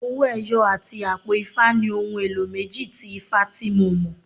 Owó ẹyọ àti àpò ifá ni ohun èlò méjì tí ifá tí mo mọ̀.